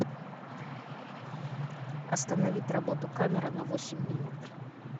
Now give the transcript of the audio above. остановить работу камера на восемь минут